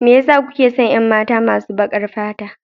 Me yasa kuke son 'yan mata masu bakar fata?